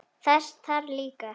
Þess þarf líka.